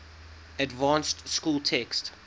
advanced school text